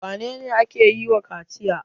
Wane ne ake yi wa kaciya?